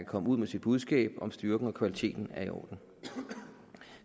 komme ud med sit budskab om styrken og kvaliteten er i orden